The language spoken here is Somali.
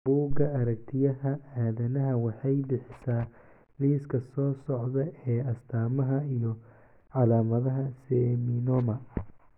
buga aragtiyaha adanaha waxay bixisaa liiska soo socda ee astamaha iyo calaamadaha Seminoma.